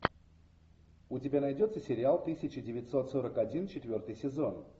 у тебя найдется сериал тысяча девятьсот сорок один четвертый сезон